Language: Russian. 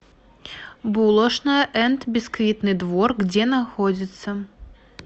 булошная энд бисквитный двор где находится